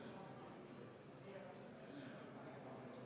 Tegelikult on ju Riigikogu liikmetel võimalik ka muudatusettepanekuid esitada.